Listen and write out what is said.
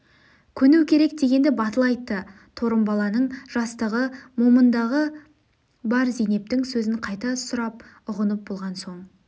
көну керек дегенді батыл айтты торымбала-ның жастығы момындығы бар зейнептің сөзін қайта сұрап үғынып болған соң